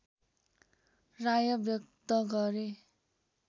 राय व्यक्त गरे